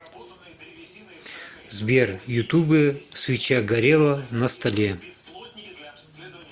сбер ютуб свеча горела на столе